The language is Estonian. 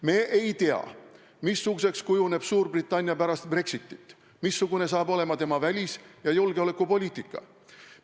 Me ei tea, missuguseks kujuneb Suurbritannia pärast Brexitit, missugune saab olema tema välis- ja julgeolekupoliitika.